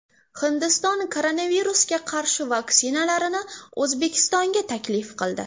Hindiston koronavirusga qarshi vaksinalarini O‘zbekistonga taklif qildi.